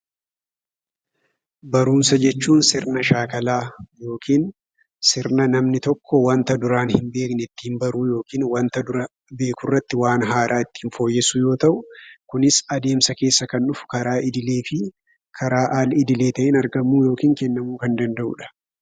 Barumsa jechuun sirna shaakalaa yookiin sirna namni tokko wanta duraan hin beekne ittiin baruu yookiin wanta dura beekurratti waan haaraa fooyyessuu yoo ta'u, kunis adeemsa keessa kan dhufu karaa idileefi karaa alidilee ta'een argamuu yookiin kennamuu kan danda'udha.